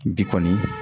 Bi kɔni